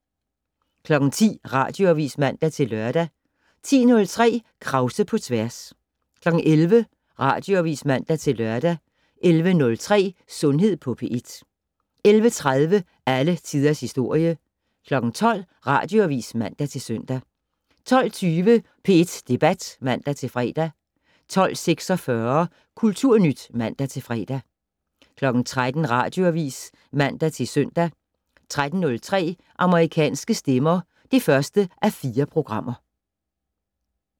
10:00: Radioavis (man-lør) 10:03: Krause på tværs 11:00: Radioavis (man-lør) 11:03: Sundhed på P1 11:30: Alle Tiders Historie 12:00: Radioavis (man-søn) 12:20: P1 Debat (man-fre) 12:46: Kulturnyt (man-fre) 13:00: Radioavis (man-søn) 13:03: Amerikanske stemmer (1:4)